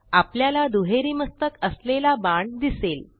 आपल्याला दुहेरी मस्तक असलेला बाण दिसेल